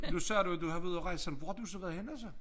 Nu sagde du at du havde været ud at rejse hvor har du så været henne så